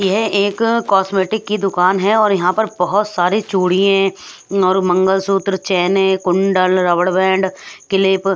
यह एक कॉस्मेटिक की दुकान है और यहाँ पर बहुत सारी चूड़ी हैं और मंगलसूत्र चैनें हैं कुंडल रबड़बैंड क्लिप।